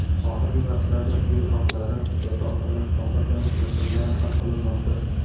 Oxirgi vaqtlarda yo‘l haqlari, yotoqxona, ovqatlanish masalalari hal qilinmoqda.